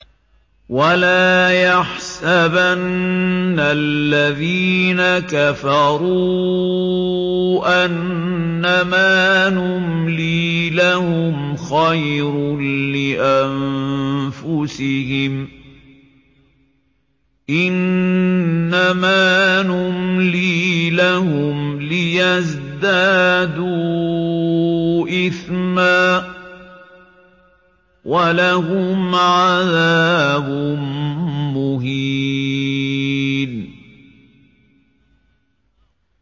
وَلَا يَحْسَبَنَّ الَّذِينَ كَفَرُوا أَنَّمَا نُمْلِي لَهُمْ خَيْرٌ لِّأَنفُسِهِمْ ۚ إِنَّمَا نُمْلِي لَهُمْ لِيَزْدَادُوا إِثْمًا ۚ وَلَهُمْ عَذَابٌ مُّهِينٌ